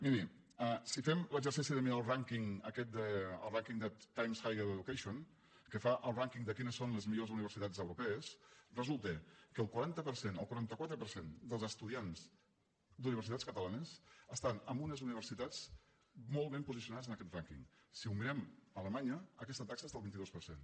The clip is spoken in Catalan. miri si fem l’exercici de mirar el rànquing de times higher education que fa el rànquing de quines són les millors universitats europees resulta que el quaranta quatre per cent dels estudiants d’universitats catalanes estan en unes universitats molt ben posicionades en aquest rànquing si ho mirem a alemanya aquesta taxa és del vint dos per cent